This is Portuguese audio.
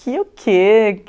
Que o quê?